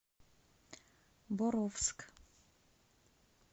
боровск